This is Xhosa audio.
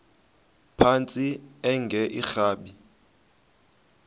phantsi enge lrabi